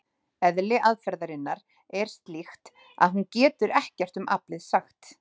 Eðli aðferðarinnar er slíkt að hún getur ekkert um aflið sagt.